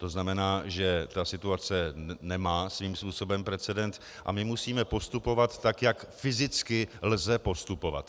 To znamená, že ta situace nemá svým způsobem precedens, a my musíme postupovat tak, jak fyzicky lze postupovat.